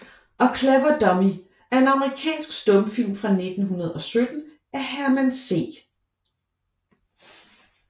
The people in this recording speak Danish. A Clever Dummy er en amerikansk stumfilm fra 1917 af Herman C